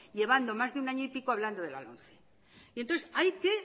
llevando mas de un año y pico hablando de la lomce y entonces hay que